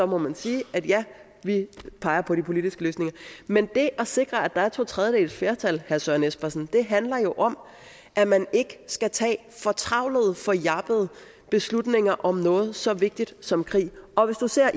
må man sige at vi peger på politiske løsninger men det at sikre at der er to tredjedeles flertal herre søren espersen handler jo om at man ikke skal tage fortravlede og jappede beslutninger om noget så vigtigt som krig og hvis du ser